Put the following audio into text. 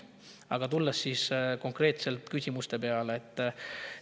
Aga tulen konkreetselt küsimuste juurde.